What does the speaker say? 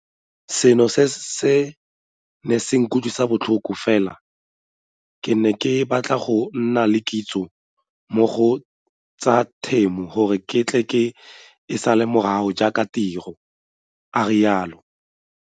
Seno se ne se nkutlwisa botlhoko fela ke ne ke batla go nna le kitso mo go tsa temo gore ke tle ke e sale morago jaaka tiro, a rialo.